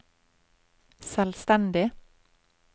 selvstendig